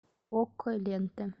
окко лента